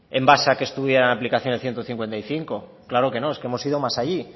en base a que estuviera en aplicación el ciento cincuenta y cinco claro que no es que hemos ido más allí